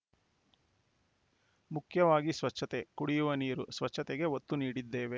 ಮುಖ್ಯವಾಗಿ ಸ್ವಚ್ಥತೆ ಕುಡಿಯುವ ನೀರು ಸ್ವಚ್ಛತೆಗೆ ಒತ್ತು ನೀಡಿದ್ದೇವೆ